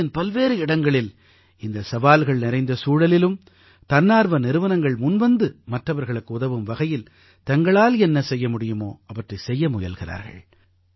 தேசத்தின் பல்வேறு இடங்களில் இந்த சவால்கள் நிறைந்த சூழலிலும் தன்னார்வ நிறுவனங்கள் முன்வந்து மற்றவர்களுக்கு உதவும் வகையில் தங்களால் என்ன செய்ய முடியுமோ அவற்றைச் செய்ய முயல்கிறார்கள்